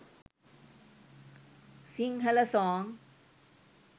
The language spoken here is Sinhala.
singhala song